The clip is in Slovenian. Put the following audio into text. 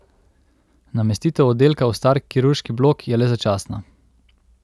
Namestitev oddelka v star kirurški blok je le začasna.